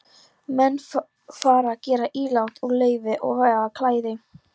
Menn fara að gera ílát úr leir og vefa klæði.